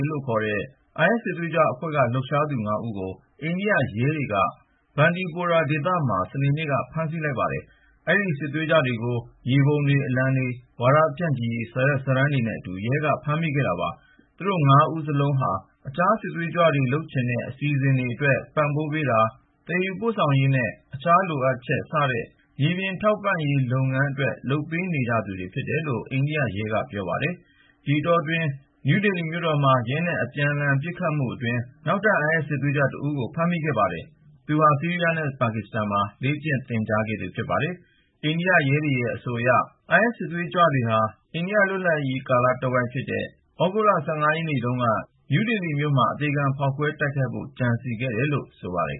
လို့ခေါ်တဲ IS စစ်သေးကြွအဖွဲ့က လှုပ်ရှားသူ ၅ ဦးကို အိန္ဒိယရဲတွေက Bandipora ဒေသမှာ စနေနေ့က ဖမ်းဆီးလိုက်ပါတယ်။ အဲဒီ စစ်သွေးကြွတွေကို မြေပုံတွေ၊ အလံတွေ၊ ဝါဒဖြန့်ချိရေး စာရွက်စာတမ်းတွေနဲ့အတူ ရဲက ဖမ်းမိခဲ့တာပါ။ သူတို့ဟာ အိန္ဒိယစစ်တပ် တပ်ခွဲတခုကို တိုက်ခိုက်ဖို့ အစီအစဉ်ရှိသူတွေ ဖြစ်ပါတယ်။ သူတို့ ၅ ဦးစလုံးဟာ အခြားစစ်သွေးကြွတွေ လုပ်ချင်တဲ့ အစီအစဉ်တွေအတွက် ပံ့ပိုးပေးတာ၊ သယ်ယူပို့ဆောင်ရေးနဲ့ အခြားလိုအပ်ချက် စတဲ့ မြေပြင်ထောက်ပံ့ရေး လုပ်ပေးနေကြသူတွေ ဖြစ်တယ်လို့ အိန္ဒိယရဲက ပြောပါတယ်။ ဒီအတောအတွင်း မြို့တော် နယူးဒေလီမှာ ရဲနဲ့ အပြန်လှန် ပစ်ခတ်မှုတခု ဖြစ်ပြီးနောက် နောက်ထပ် IS စစ်သွေးကြွတဦးကို ဖမ်းမိခဲ့ပါတယ်။ သူဟာ ဆီးရီးယားနဲ့ ပါကစ္စတန်တွေမှာ လေ့ကျင့်သင်ကြားခဲ့သူ ဖြစ်ပါတယ်။ အိန္ဒိယရဲတွေရဲ့ အဆိုအရ IS စစ်သွေးကြွတွေဟာ အိန္ဒိယ လွတ်လပ်ရေးနေ့ကာလ သြဂုတ်လ ၁၅ ရက်နေ့တုန်းက ဒေလီမြို့မှာ အသေခံ ဖောက်ခွဲတိုက်ခိုက်ဖို့ ကြံစည်ခဲ့တယ်လို့ ဆိုပါတယ်